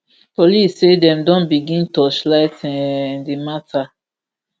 police say dem don begin torchlight um di matter